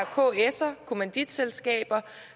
kser kommanditselskaber